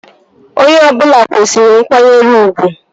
Onye ọbụla kwesịrị nkwanyere ugwu